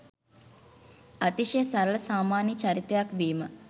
අතිශය සරලසාමාන්‍ය චරිතයක් වීම